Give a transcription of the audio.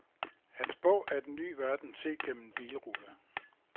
Hans bog er den ny verden set gennem en bilrude.